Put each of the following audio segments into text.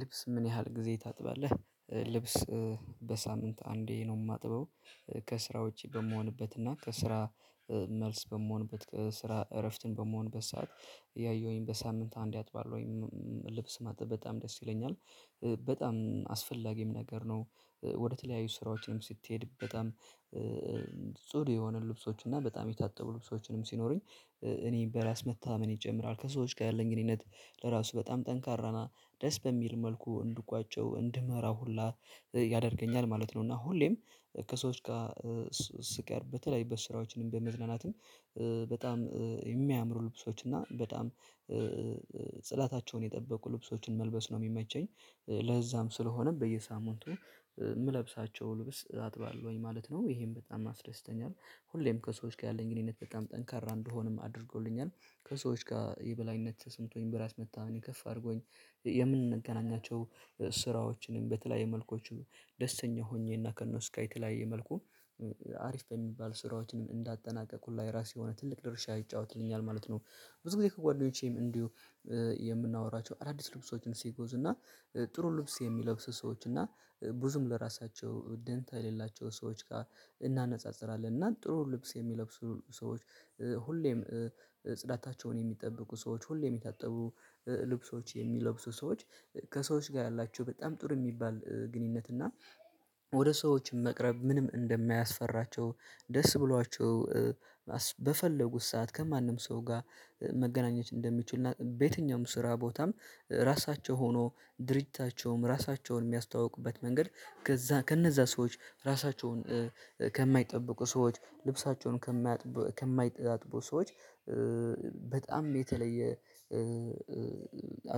ልብስ ምን ያህል ጊዜ ታጥባለህ? ልብስ በሳምንት አንዴ ነው የማጥበው። ከስራ ውጪ በምሆንበት እና ከስራ። መልስ በምሆንበት ስራ እረፍትን በምሆንበት ሰዓት ያየሁኝ በሳምንት አንዴ አጥባለውኝ። ልብስ ማጠበብ በጣም ደስ ይለኛል። በጣም አስፈላጊም ነገር ነው ወደ ተለያዪ ስራዎችም ስትሄድ በጣም ጽዱ የሆኑ ልብሶች እና በጣም የታጠቡ ልብሶች ሲኖሩኝ። እኔ በራስ መተማመኔ ይጨምራል ከሰዎች ጋር ያለኝ ግንኙነት ለራሱ በጣም ጠንካራ ነው። ድረስ በሚል መልኩ እንድቋጨው እንድመራው ሁላ ያደርገኛል ማለት ነው። እና ሁሌም ከሰዎች ጋር ስቀርብ በተለያዪ ስራዎች በመዝናናትም በጣም የሚያምሩ ልብሶች እና በጣም ጽዳታቸውን የጠበቁ ልብሶችን መልበስ ነው የሚመቸኝ። ለዛም ስለሆነ በየሳምንቱ የምለብሳቸው ልብስ አጥባለሁኝ ማለት ነው። ይሄን በጣም ያስደስተኛል ሁሌም ከሰዎች ጋር ያለኝ ግንኙነት በጣም ጠንካራ እንደሆንም አድርጎልኛል። ከሰዎች ጋር የበላይነት ተሰምቶኝ በራስ መተማመኔ ከፍ አድርጎኝ። የምንገናኛቸው ስራዎችንም በተለያየ መልኮቹ ደስተኛ ሆኜ እና ከነሱ ጋር የተለያየ መልኩ አሪፍ በሚባል ስራዎችን እንዳጠናቀቁ ላይ ራሴ የሆነ ትልቅ ድርሻ ይጫወትልኛል ማለት ነው። ብዙ ጊዜ ከጓደኞቼም እንዲሁ የምናወራቸው አዳዲስ ልብሶችን ሲገዙ እና ጥሩ ልብስ የሚለብስ ሰዎች እና ብዙም ለራሳቸው ደንታ የሌላቸው ሰዎች ጋር እናነጻጽራለን እና ጥሩ ልብስ የሚለብሱ ሰዎች። ሁሌም ጽዳታቸውን የሚጠብቁ ሰዎች ሁሌም የታጠቡ ልብሶች የሚለብሱ ሰዎች ከሰዎች ጋር ያላችሁ በጣም ጥሩ የሚባል ግንኙነት እና። ወደ ሰዎች መቅረብ ምንም እንደማያስፈራቸው ደስ ብሏቸው። በፈለጉት ሰዓት ከማንም ሰው ጋር መገናኘት እንደሚችሉ በየትኛውም ስራ ቦታም ራሳቸው ሆኖ ድርጅታቸውም ራሳቸውን የሚያስተዋውቁበት መንገድ። ከነዛ ሰዎች ራሳቸውን ከማይጠበቁ ሰዎች ልብሳቸውን ከማያጥቡ ከማያጥቡ ሰዎች። በጣም የተለየ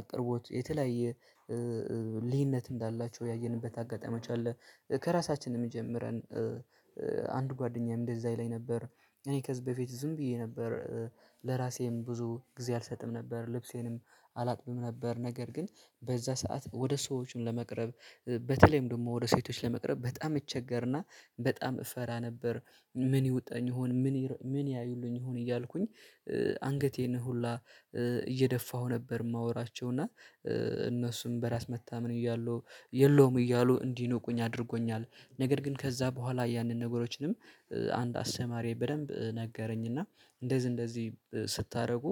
አቅርቦት የተለያየ ልዩነት እንዳላቸው ያየንበት አጋጣሚ አለ። ከራሳችን የእንጀምር አንድ ጓደኛዬ እንደዛ ይለኝ ነበር እኔ ከዚህ በፊት ዝም ብዬ ነበር። ለራሴም ብዙ ጊዜ አልሰጥም ነበር ልብሴንም አላጥብም ነበር። ነገር ግን በዛ ሰዓት ወደ ሰዎችም ለመቅረብ በተለይም ደግሞ ወደ ሴቶች ለመቅረብ በጣም እቸገርና በጣም እፈራ ነበር። ምን ይውጣልኝ ይሆን ምን ምን ያዩልኝ ይሆን እያልኩኝ። አንገቴን ሁላ እየደፋሁ ነበር የማወራቸው እና እነሱም በራስ መተማመን እያሉ የለውም እያሉ እንዲኖቁኝ አድርጎኛል። ነገር ግን ከዛ በኋላ ያንን ነገሮችንም አንድ አስተማሪ በደንብ ነገረኝና እንደዚህ እንደዚህ ስታደርጉ።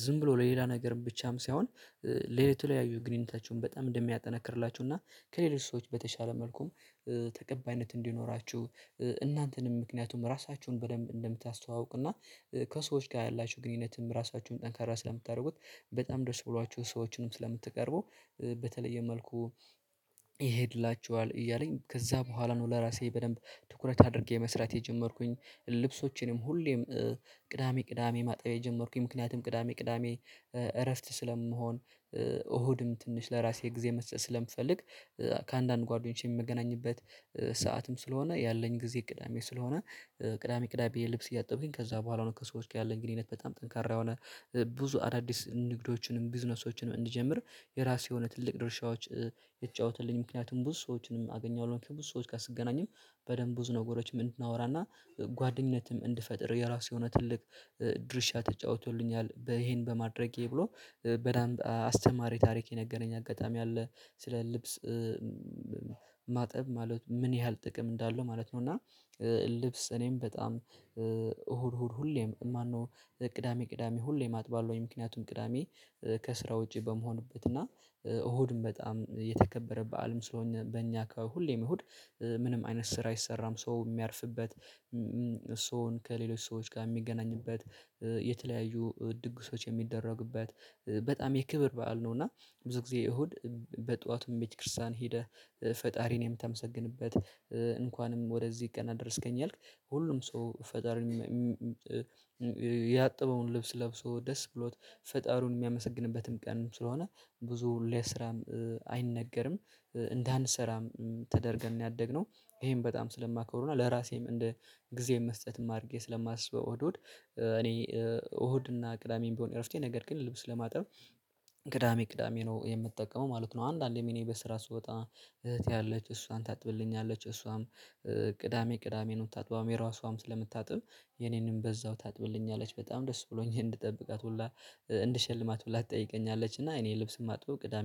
ዝም ብሎ ለሌላ ነገርም ብቻም ሳይሆን የተለያዩ ግንኙነታችሁን በጣም እንደሚያጠናክርላችሁ እና ከሌሎች ሰዎች በተሻለ መልኩም ተቀባይነት እንዲኖራችሁ። እናንተንም ምክንያቱም ራሳችሁን በደንብ እንደምታስተዋውቅና ከሰዎች ጋር ያላችሁ ግንኙነትም ራሳችሁን ጠንካራ ስለምታደርጉት በጣም ድረስ ብሏችሁ ሰዎችንም ስለምትቀርቡ። በተለየ መልኩ ይሄድላችኋል እያለኝ ከዛ በኋላ ነው ለራሴ በደንብ ትኩረት አድርጌ መስራት የጀመርኩኝ። ልብሶቼንም ሁሌም ቅዳሜ ቅዳሜ ማጣብ የጀመርኩኝ ምክንያቱም ቅዳሜ ቅዳሜ እረፍት ስለመሆን እሁድም ትንሽ ለራሴ ጊዜ መስጠት ስለምፈልግ። ከአንዳንድ ጓደኞቼ የምገናኝበት ሰዓትም ስለሆነ ያለኝ ጊዜ ቅዳሜ ስለሆነ ቅዳሜ ቅዳሜ ልብስ እያጠብኩኝ ከዛ በኋላ ነው ከሰዎች ጋር ያለኝ ግንኙነት በጣም ጠንካራ የሆነ። ብዙ አዳዲስ ንግዶችንም ቢዝነሶችንም እንጀምር የራሴ የሆነ ትልቅ ድርሻዎች የተጫወተልኝ ምክንያቱም ብዙ ሰዎችንም አገኛለሁ ከብዙ ሰዎች ጋር ስገናኝም በደንብ ብዙ ነገሮችንም እንድናወራና ጓደኝነትም እንድፈጥር የራሱ የሆነ ትልቅ ድርሻ ተጫውቶልኛል። ይሄን በማድረጌ ብሎ በደንብ አስተማሪ ታሪክ የነገረኝ አጋጣሚ አለ። ስለ ልብስ ማጠብ ማለት ምን ያህል ጥቅም እንዳለው ማለት ነው። እና ልብስ እኔም በጣም እሁድ እሁድ ሁሌም ማነው ቅዳሜ ቅዳሜ ሁሌ አጥባለሁኝ። ምክንያቱም ቅዳሜ ከስራ ውጪ በመሆንበት እና እሁድም በጣም የተከበረ በዓልም ስለሆነ በእኛ አካባቢ ሁሌም እሁድ ምንም አይነት ስር አይሰራም ሰው የሚያርፍበት። ሰውን ከሌሎች ሰዎች ጋር የሚገናኝበት የተለያዩ ድግሶች የሚደረግበት በጣም የክብር በዓል ነው። እና ብዙ ጊዜ እሁድ በጧቱ ቤተ ክርስቲያን ሄደህ ፈጣሪን የምታመሰግንበት እንኳንም ወደዚህ ቀን አደረስከኝ። ያልክ ሁሉም ሰው ፈጣሪን ያጠበውን ልብስ ለብሶ ደስ ብሎት ፈጣሪውን የሚያመሰግንበትም ቀንም ስለሆነ ብዙ ለስራም አይነገርም እንዳንሰራም ተደርገን ነው ያደግነው። ይሄም በጣም ስለማቀውና ለራሴም እንደ ጊዜም መስጠትም አድርጌ ስለማስበው እሁድ እሁድ እኔ እሁድና ቅዳሜም ቢሆን እረፍቴ ነገር ግን ልብስ ለማጥረብ። ቅዳሜ ቅዳሜ ነው የምትጠቀመው ማለት ነው። አንዳንዴ እኔ በስራ ስወጣ እህቴ ያለች እሷን ታጥብልኛለች። እሷም ቅዳሜ ቅዳሜ ነው ምታጥባለች የራሷም ስለምታጥብ የኔንም በዛው ታጥብልኛለች። በጣም ደስ ብሎኝ እንድጠብቃት ሁላ እንድሸልማት ሁላ ትጠይቀኛለች። እና እኔ ልብስ የማጥበው ቅዳሜ ነው